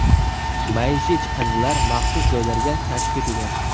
Maishiy chiqindilar maxsus joylarga tashib ketilgan.